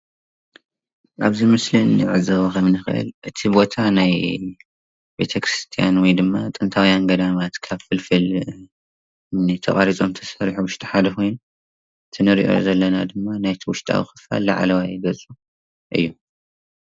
ኣብዚ ምስሊ እንዕዘቦ ከምእንክእል እቲ ቦታ ናይ ቤቴ ክርስትያን ወይድማ ጥንታዊያን ገዳማት ካብ ፍልፍል እምኒ ተቀሪጾም ዝተሰርሑ ዉሽጢ ሓደ ኮይኑ እቲ እንርእዮ ዘለና ድማኒ ናይቲ ዉሽጣዊ ክፋል ላዕለዋይ ግጹ እዩ።